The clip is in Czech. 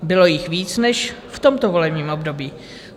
Bylo jich víc než v tomto volebním období.